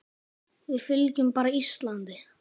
Við fylgjum bara Íslandi